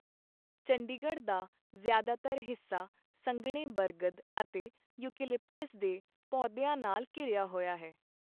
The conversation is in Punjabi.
ਚੰਡੀਗੜ੍ਹ ਦਾ ਜ਼ਿਆਦਾਤਰ ਹਿੱਸਾ ਸੰਘਣੇ ਬਰਗਦ ਅਤੇ ਯੂਕੇਲਿਪਟਾਸ ਦੇ ਪੌਦਿਆਂ ਨਾਲ ਘਿਰਿਆ ਹੋਇਆ ਹੈ।